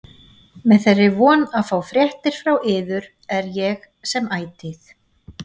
Með þeirri von að fá fréttir frá yður er ég sem ætíð